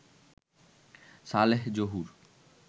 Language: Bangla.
সালেহ জহুর